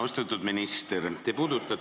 Austatud minister!